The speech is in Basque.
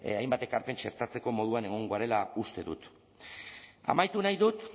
hainbat ekarpen txertatzeko moduan egongo garela uste dut amaitu nahi dut